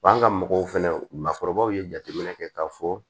Wa an ka mɔgɔw fɛnɛ makɔrɔbaw ye jateminɛ kɛ k'a fɔ